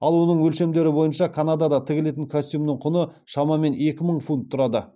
ал оның өлшемдері бойынша канадада тігілетін костюмнің құны шамамен екі мың фунт тұрады